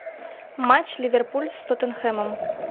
матч ливерпуль с тоттенхэмом